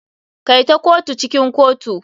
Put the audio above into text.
Kai ta kotu cikin kotu.